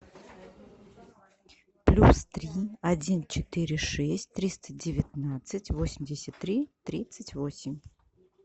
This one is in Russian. плюс три один четыре шесть триста девятнадцать восемьдесят три тридцать восемь